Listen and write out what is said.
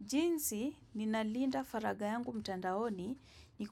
Jinsi ninalinda faraga yangu mtandaoni ni